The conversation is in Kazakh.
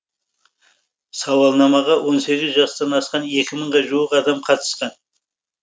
сауалнамаға он сегіз жастан асқан екі мыңға жуық адам қатысқан